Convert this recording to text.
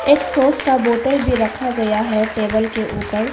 एक सॉस का बॉटल भी रखा गया है टेबल के ऊपर।